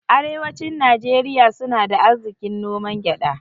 Arewacin Nijeriya suna da arzikin noman gyada